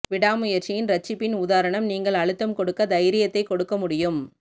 விடாமுயற்சியின் இரட்சிப்பின் உதாரணம் நீங்கள் அழுத்தம் கொடுக்க தைரியத்தை கொடுக்க முடியும்